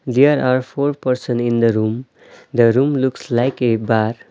There are four person in the room. The room looks like a bar.